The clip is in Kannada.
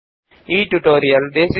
ಈ ಪಾಠದ ಅನುವಾದಕ ಮತ್ತು ಪ್ರವಾಚಕ ಐ